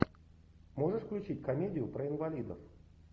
можешь включить комедию про инвалидов